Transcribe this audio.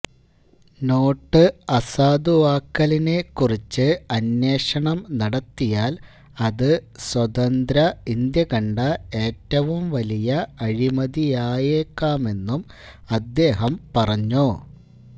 note അസാധുവാക്കലിനെ കുറിച്ച് അന്വേഷണം നടത്തിയാല് അത് സ്വതന്ത്ര ഇന്ത്യകണ്ട ഏറ്റവും വലിയ അഴിമതിയായേക്കാമെന്നും അദ്ദേഹം പറഞ്ഞു